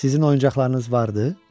Sizin oyuncaqlarınız vardı?